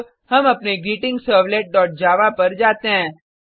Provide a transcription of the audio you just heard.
अब हम अपने greetingservletजावा पर जाते हैं